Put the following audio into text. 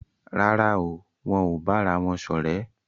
Rárá o, wón ò bára wón ṣọ̀rẹ́